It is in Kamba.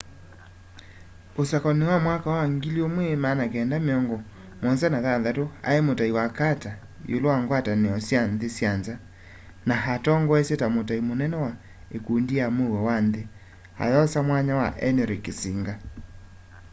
usakuanini wa 1976 ai mutai wa carter iulu wa ngwatanio sya nthi syanza na atongoesya ta mutai munene wa ikundi ya muuo wa nthi ayosa mwanya wa henry kissinger